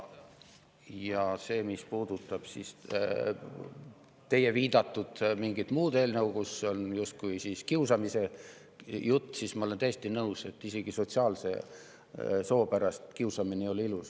Ja see, mis puudutab teie viidatud mingit muud eelnõu, kus on justkui kiusamise jutt, siis ma olen täiesti nõus, et isegi sotsiaalse soo pärast kiusamine ei ole ilus.